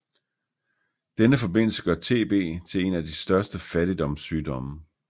Denne forbindelse gør TB til en af de største fattigdomssygdomme